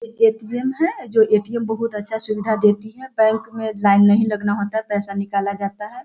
एक ए.टी.एम. है जो ए.टी.एम. बहुत अच्छा सुविधा देती है बैंक मे लाइन नहीं लगना होता है पैसा निकाला जाता है।